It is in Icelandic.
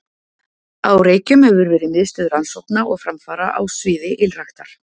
Á Reykjum hefur verið miðstöð rannsókna og framfara á sviði ylræktar.